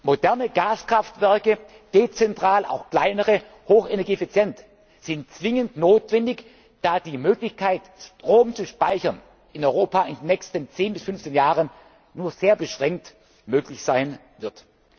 kann. Moderne Gaskraftwerke dezentral, auch kleinere, hochenergieeffizient sind zwingend notwendig, da die Möglichkeit, Strom zu speichern, in Europa in den nächsten zehn bis fünfzehn Jahren nur sehr beschränkt möglich